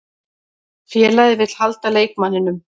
Félagið vill halda leikmanninum.